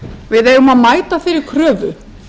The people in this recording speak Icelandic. við eigum að mæta þeirri kröfu